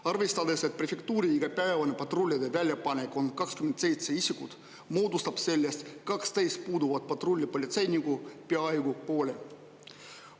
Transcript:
Arvestades, et prefektuuri igapäevane patrullide väljapanek on 27 isikut, moodustab sellest 12 puuduvat patrullipolitseinikku peaaegu poole.